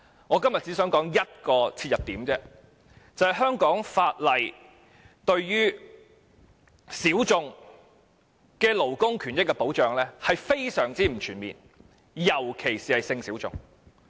我今天只想提出一個切入點，就是香港法例對於小眾的勞工權益保障是非常不全面的，特別是性小眾。